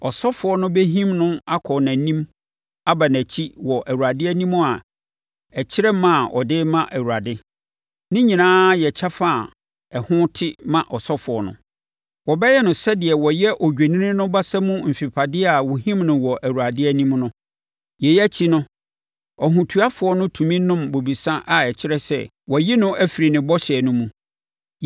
Ɔsɔfoɔ no bɛhim no akɔ nʼanim aba nʼakyi wɔ Awurade anim a ɛkyerɛ ma a ɔde rema Awurade. Ne nyinaa yɛ kyɛfa a ɛho te ma ɔsɔfoɔ no. Wɔbɛyɛ no sɛdeɛ wɔyɛ odwennini no basa mu mfempadeɛ a wɔhim no wɔ Awurade anim no. Yei akyi no, ɔhotuafoɔ no tumi nom bobesa a ɛkyerɛ sɛ, wɔayi no afiri ne bɔhyɛ no mu.